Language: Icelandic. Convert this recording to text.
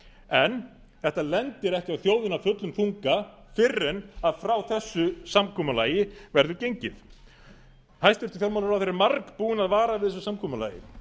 en þetta lendir ekki á þjóðinni af fullum þunga fyrr en frá þessu samkomulagi verður gengið hæstvirtur fjármálaráðherra er margbúinn að vara við þessu samkomulagi